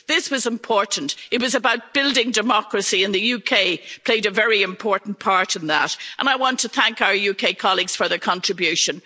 This was important, it was about building democracy and the UK played a very important part in that and I want to thank our UK colleagues for their contribution.